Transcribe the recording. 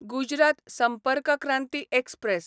Gujarat Sampark Kranti express